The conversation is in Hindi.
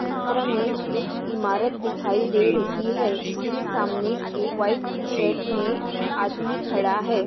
चित्र में एक इमारत दिखाई दे रही है जिसके सामने एक व्हाइट टीशर्ट में आदमी खडा है।